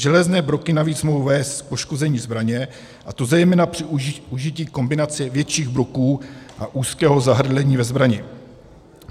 Železné broky navíc mohou vést k poškození zbraně, a to zejména při užití kombinace větších broků a úzkého zahrdlení ve zbrani.